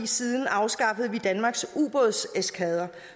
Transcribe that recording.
siden afskaffede vi danmarks ubådseskadre